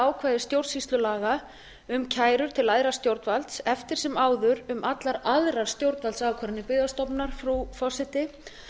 ákvæði stjórnsýslulaga um kæru til æðra stjórnvalds eftir sem áður um allar aðrar stjórnvaldsákvarðanir byggðastofnunar frú forseti